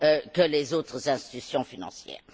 que les autres institutions financières.